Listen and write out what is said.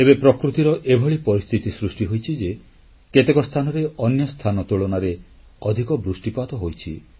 ଏବେ ପ୍ରକୃତିର ଏଭଳି ପରିସ୍ଥିତି ସୃଷ୍ଟି ହୋଇଛି ଯେ କେତେକ ସ୍ଥାନରେ ଅନ୍ୟ ସ୍ଥାନ ତୁଳନାରେ ଅଧିକ ବୃଷ୍ଟିପାତ ହୋଇଛି